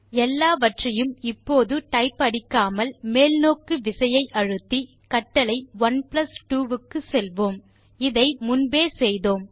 எல்லாவற்றையும் இப்போது டைப் அடிக்காமல் மேல் நோக்கு விசையை அழுத்தி கட்டளை 12 க்கு செல்வோம்இதை முன்பே செய்தோம்